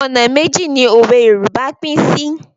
Ọ̀nà méjì ni òwe Yorùbá pín sí.